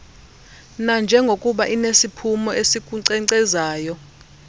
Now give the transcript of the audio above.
nanjengokuba inesiphumo esikunkcenkcezayo